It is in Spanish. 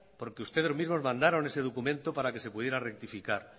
porque ustedes mismos mandaron ese documento para que se pudiera rectificar